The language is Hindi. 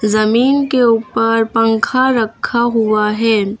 जमीन के ऊपर पंखा रखा हुआ है।